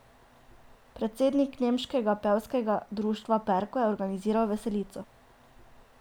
Predsednik nemškega pevskega društva Perko je organiziral veselico.